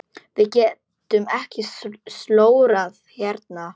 Við getum ekki slórað hérna.